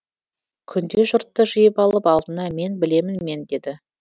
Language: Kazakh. күнде жұртты жиып алып алдына мен білемін мен деді